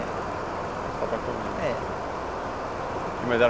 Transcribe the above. É só para comer mesmo. É. Mas era